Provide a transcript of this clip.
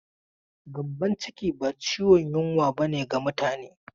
Gyambon ciki ba ciwon yunwa ba ne ga mutane.